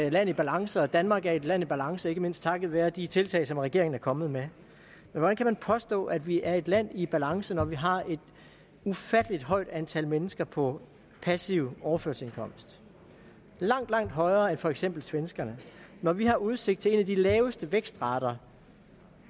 et land i balance og at danmark er et land i balance ikke mindst takket være de tiltag som regeringen er kommet med hvordan kan man påstå at vi er et land i balance når vi har et ufatteligt højt antal mennesker på passiv overførselsindkomst langt langt højere end for eksempel svenskerne når vi har udsigt til en af de laveste vækstrater